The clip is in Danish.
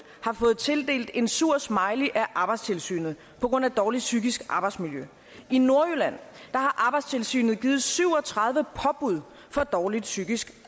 har fået tildelt en sur smiley af arbejdstilsynet på grund af dårligt psykisk arbejdsmiljø i nordjylland har arbejdstilsynet givet syv og tredive påbud for dårligt psykisk